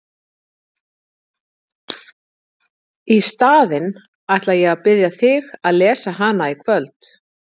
Í staðinn ætla ég að biðja þig að lesa hana í kvöld!